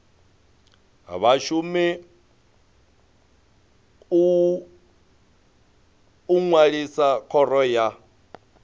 vhashumi u ṅwalisa khoro ya